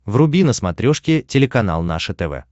вруби на смотрешке телеканал наше тв